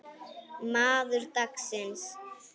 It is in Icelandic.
Maður dagsins?